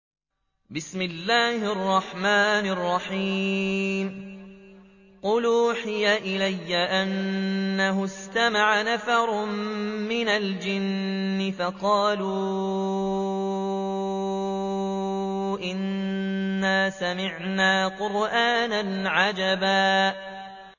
قُلْ أُوحِيَ إِلَيَّ أَنَّهُ اسْتَمَعَ نَفَرٌ مِّنَ الْجِنِّ فَقَالُوا إِنَّا سَمِعْنَا قُرْآنًا عَجَبًا